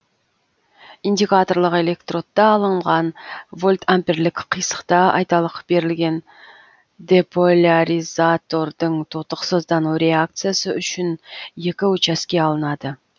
индикаторлық электродта алынған вольтамперлік қисықта айталық берілген деполяризатордың тотықсыздану реакциясы үшін екі участке алынады